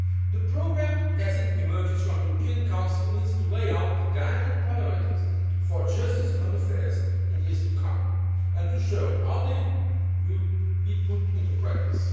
The programme as it emerges from the European Council needs to lay out the guiding priorities for justice and home affairs in the years to come and to show how they will be put into practice.